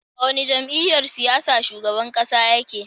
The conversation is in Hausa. A wani jam'iyyar siyasa shugaban ƙasa ya ke?